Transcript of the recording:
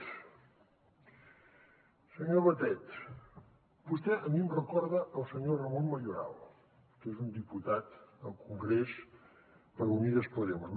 senyor batet vostè a mi em recorda el senyor rafael mayoral que és un diputat al congrés per unidas podemos